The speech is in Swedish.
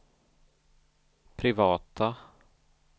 privata